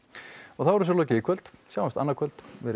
þá er þessu lokið í kvöld sjáumst annað kvöld verið